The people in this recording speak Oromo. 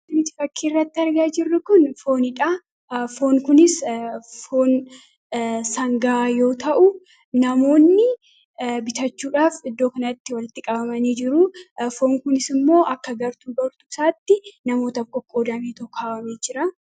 Wanti fakkiirratti argaa jirru kun foonidha. Foon kunis foon sangaa yoo ta'u, namoonni bitachuudhaaf iddoo kanatti walitti qabamanii jiru. Foon kunisimmoo akka gartuu foonichaatti namootaaf qoqqoodameetu kaawwamee jira.